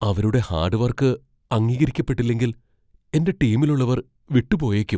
അവരുടെ hard work അംഗീകരിക്കപ്പെട്ടില്ലെങ്കിൽ എന്റെ ടീമിലുള്ളവർ വിട്ടുപോയേക്കും